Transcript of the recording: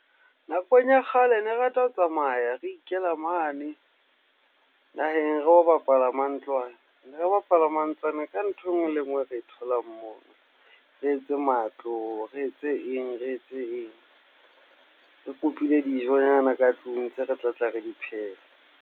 Nakong ya kgale ne re rata ho tsamaya, re ikela mane naheng ro bapala mantlwane, ne re bapala mantlwane ka ntho enngwe le enngwe e re e tholang moo, re etse matlo, re etse eng, re etse eng, re kopile dijo nyana ka tlung tseo re tlatla re di pheha.